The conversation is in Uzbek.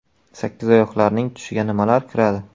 Sakkizoyoqlarning tushiga nimalar kiradi?.